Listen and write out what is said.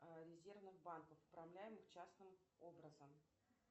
резервных банков управляемых частным образом